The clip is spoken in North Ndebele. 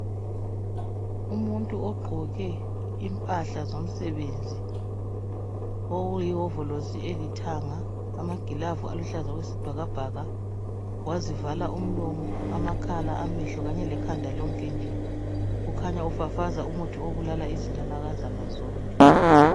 Umuntu ogqoke impahla zomsebenzi okuyihovolosi elithanga amagilavu aluhlaza okwesibhakabhaka wazivala umlomo , amakhala ,amehlo kanye lekhanda lonke nje kukhanya ufafaza umuthi obulala izinanakazana zonke.